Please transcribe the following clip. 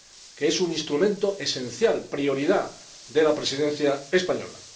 que es un instrumento esencial, prioridad de la Presidencia española.